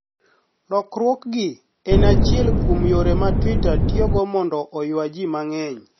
Lokruokgi eni achiel kuom yore ma Twitter tiyogo monido oywa ji manig'eniy.